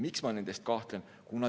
Miks ma nendes kahtlen?